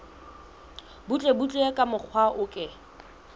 butlebutle ka mokgwa o ke